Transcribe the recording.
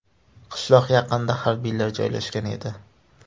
Qishloq yaqinida harbiylar joylashgan edi.